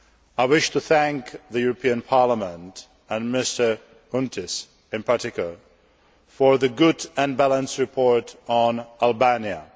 I wish to thank the European Parliament and Mr Chountis, in particular for the good and balanced report on Albania.